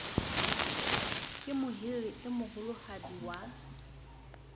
ke mohiri e moholohadi wa